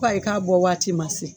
Ko ayi k'a bɔ waati ma se